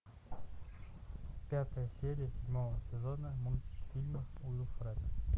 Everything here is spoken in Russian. пятая серия седьмого сезона мультфильм уилфред